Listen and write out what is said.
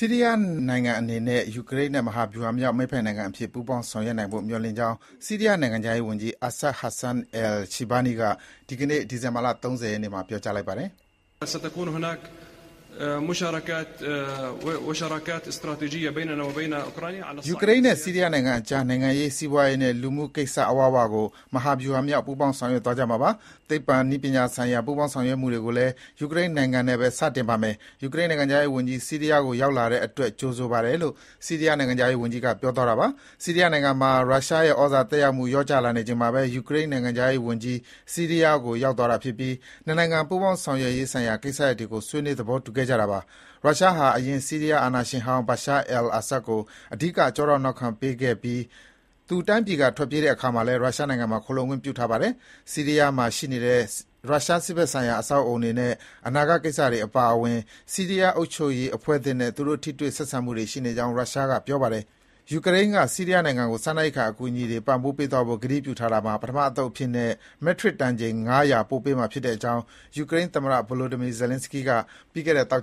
ီးရီးယားနိုင်ငံအနေနဲ့ ယူကရိန်းနဲ့ မဟာဗျူဟာမြောက် မိတ်ဖက်နိုင်ငံအဖြစ် ပူးပေါင်းဆောင်ရွက်နိုင်ဖို့ မျှော်လင့်ကြောင်း ဆီးရီးယားနိုင်ငံခြားရေးဝန်ကြီး Assad Hassan Al-Shibani က ဒီကနေ့ ဒီဇင်ဘာ ၃၀ ရက်နေ့မှာ ပြောလိုက်ပါတယ်။ “ယူကရိန်းနဲ့ ဆီးရီးယားနိုင်ငံကြား နိုင်ငံရေး၊ စီးပွားရေးနဲ့ လူမှုကိစ္စအဝဝကို မဟာဗျူဟာမြောက် ပူးပေါင်းဆောင်ရွက်သွားကြမှာပါ။ သိပ္ပံနည်းပညာဆိုင်ရာ ပူးပေါင်းဆောင်ရွက်မှုတွေကိုလည်း ယူကရိန်းနိုင်ငံနဲ့ပဲ စတင်ပါမယ်။ ယူကရိန်းနိုင်ငံခြားရေးဝန်ကြီး ဆီးရီးယားကို ရောက်လာတဲ့အတွက် ကြိုဆိုပါတယ်” - လို့ ဆီးရီးယားနိုင်ငံခြားရေးဝန်ကြီးက ပြောသွားတာပါ။ ဆီးရီးယားနိုင်ငံမှာ ရုရှားရဲ့ဩဇာသက်ရောက်မှု လျော့ကျလာနေချိန်မှာပဲ ယူကရိန်းနိုင်ငံခြားရေးဝန်ကြီး ဆီးရီးယားကို ရောက်သွားပြီး နှစ်နိုင်ငံ ပူးပေါင်းဆောင်ရွက်ဆိုင်ရာကိစ္စရပ်တွေကို ဆွေးနွေး သဘောတူခဲ့ကြတာပါ။ ရုရှားဟာ အရင် ဆီးရီးယားအာဏာရှင်ဟောင်း Bashar al-Assad ကို အဓိက ကျောထောက်နောက်ခံ ပေးခဲ့ပြီး သူတိုင်းပြည်က ထွက်ပြေးတဲ့အခါမှာလည်း ရုရှားနိုင်ငံမှာ ခိုလှုံခွင့်ပြုထားပါတယ်။ ဆီးရီးယားမှာရှိနေတဲ့ ရုရှားစစ်ဘက်ဆိုင်ရာ အဆောက်အဦးတွေရဲ့ အနာဂတ်ကိစ္စအပါအဝင် ဆီးရီးယားအုပ်ချုပ်ရေးအဖွဲ့အသစ်နဲ့ သူတို့ ထိတွေ့ဆံမှုရှိနေကြောင်း ရုရှားက ပြောပါတယ်။ ယူကရိန်းက ဆီးရီးယားနိုင်ငံကို စားနပ်ရိက္ခာအကူအညီတွေ ပံ့ပိုးပေးသွားဖို့ ကတိပြုထားတာမှာ ပထမအသုတ်အဖြစ်နဲ့ မက်ထရစ်တန်ချိန် ၅၀၀ ပို့ပေးမှာဖြစ်ကြောင်း ယူကရိန်းသမ္မတ Volodymyr Zelenskiy က ပြီးခဲ့တဲ့ သောက